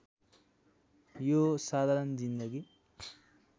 यो हो साधारण जिन्दगी